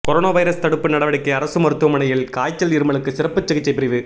corona virus தடுப்பு நடவடிக்கை அரசு மருத்துவமனையில் காய்ச்சல் இருமலுக்கு சிறப்பு சிகிச்சை பிரிவு